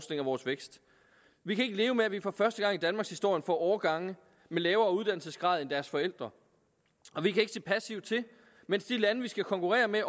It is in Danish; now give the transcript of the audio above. vores vækst vi kan ikke leve med at vi for første gang i danmarkshistorien får årgange med lavere uddannelsesgrad end deres forældre og vi kan ikke se passivt til mens de lande vi skal konkurrere med